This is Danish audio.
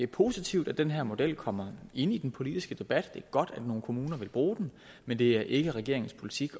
positivt at den her model kommer ind i den politiske debat det er godt at nogle kommuner vil bruge den men det er ikke regeringens politik